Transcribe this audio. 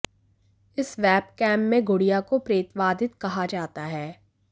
इस वेबकैम में गुड़िया को प्रेतवाधित कहा जाता है